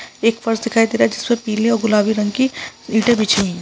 एक फर्श दिखाई दे रहा है जिसपे पीले और गुलाबी रंग की ईटे बिछी हुई है।